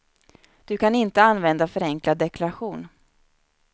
Du kan inte använda förenklad deklaration.